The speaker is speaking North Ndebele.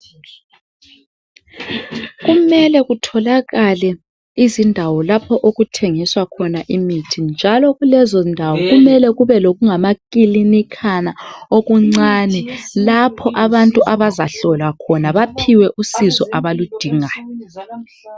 kumele kutholakale izindawo lapho okuthengiswa khona imithi njalo kulezo ndawo kumele kube lokungamakilinikhana okuncane lapho abantu abazahlolwa khona baphiwe usizo abaludingayo